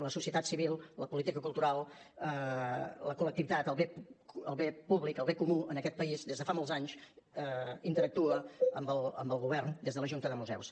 la societat civil la política cultural la col·lectivitat el bé públic el bé comú en aquest país des de fa molts anys interactua amb el govern des de la junta de museus